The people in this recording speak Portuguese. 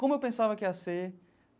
Como eu pensava que ia ser.